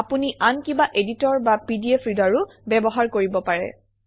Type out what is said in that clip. আপুনি আন কিবা এডিটৰ বা পিডিএফ ৰীডাৰো ব্যৱহাৰ কৰিব পাৰে